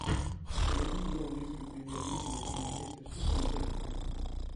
найди игру английской премьер лиги между манчестер сити и тоттенхэмом